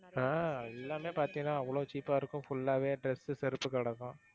ஆஹ் எல்லாமே பாத்தின்னா அவ்ளோ cheap ஆ இருக்கும். full ஆவே dress உ செருப்பு கடை தான்.